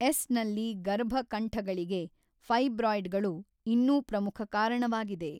ಎಸ್‌ನಲ್ಲಿ ಗರ್ಭಕಂಠಗಳಿಗೆ ಫೈಬ್ರಾಯ್ಡ್‌ಗಳು ಇನ್ನೂ ಪ್ರಮುಖ ಕಾರಣವಾಗಿದೆ.